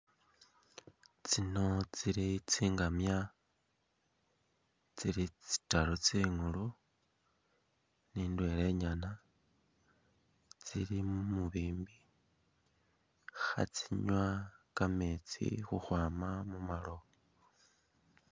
Tsino tsili tsingamya ,tsili tsitaru tsi'ngulu ni indwela inyana tsili mumubimbi khatsinywa kammetsi khukhwama mumalowo